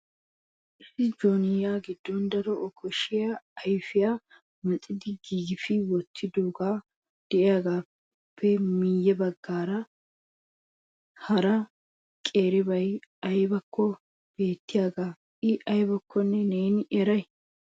Issi joonuya giddon daro okkashshiya ayfiya mixxidi yegfi wottidoihe de'iyaagappe. miyyeessa baggaara hara qeeribay aybbakko beettiyaaga I aybbakko neeni eray ?